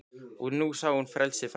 Og nú sá ég frelsið fram